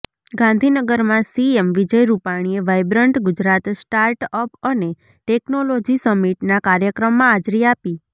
ગાંધીનગરમાં સીએમ વિજય રૂપાણીએ vibrant Gujarat start up અને ટેકનોલોજી સમીટના કાર્યક્રમમાં હાજરી આપી